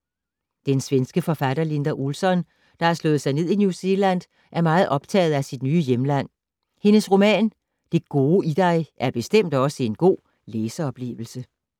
Den svenske forfatter Linda Olsson, der har slået sig ned i New Zealand, er meget optaget af sit nye hjemland. Hendes roman, Det gode i dig, er bestemt også en god læseoplevelse.